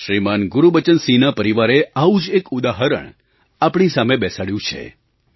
શ્રીમાન ગુરુબચનસિંહના પરિવારે આવું જ એક ઉદાહરણ આપણી સામે બેસાડ્યું છે